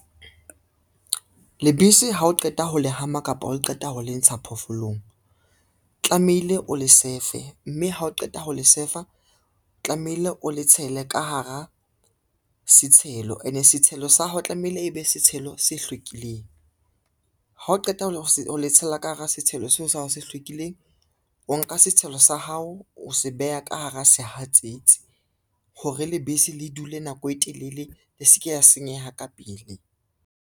Lebese ha o qeta ho le hama kapa o qeta ho le ntsha phoofolong, tlamehile o le sefe, mme ha o qeta ho le sefa, tlamehile o le tshele ka hara setshelo ene setshelo sa hao tlamehile e be setshelo se hlwekileng. Ha o qeta ho le tshela ka hara setshelo seo sa hao se hlwekileng, o nka setshelo sa hao, o se beha ka hara sehatsetsi hore lebese le dule nako e telele, le se ke la senyeha ka pele.